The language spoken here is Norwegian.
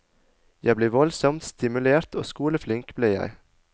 Jeg ble voldsomt stimulert, og skoleflink ble jeg.